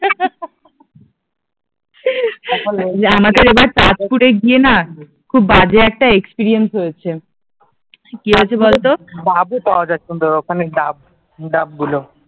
আমাদের এবার তাজপুরে গিয়ে না খুব বাজে একটা এক্সপেরিয়েন্স হয়েছে, কি হয়েছে বল তো ডাবো পাওয়া যায় সুন্দর ওখানে ডাব ডাবগুলো